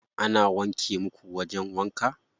Ana wanke muku wajen wanka?